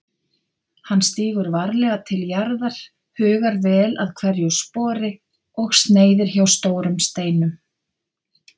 Hann stígur varlega til jarðar, hugar vel að hverju spori og sneiðir hjá stórum steinum.